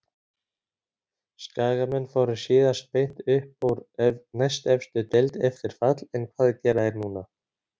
Skagamenn fóru síðast beint upp úr næstefstu deild eftir fall en hvað gera þeir núna?